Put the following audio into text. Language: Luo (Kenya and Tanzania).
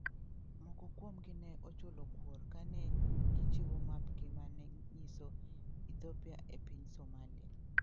Moko kuomgi ne ochulo kuor ka ne gichiwo mapgi ma ne nyiso Ethiopia e piny Somalia.